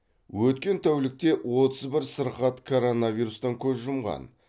өткен тәулікте отыз бір сырқат коронавирустан көз жұмған